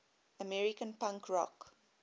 american punk rock